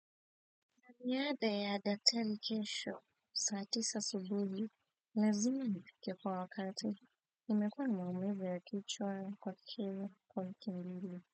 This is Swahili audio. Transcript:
Kwa niaba ya daktari kesho, saa tisa asubuhi lazima nifike kwa wakati. Nimekuwa na maumivu ya kichwa kwa kwa kelele.